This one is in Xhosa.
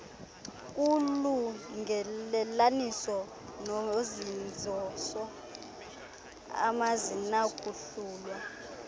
kulungelelaniso nozinziso azinakuhlulwa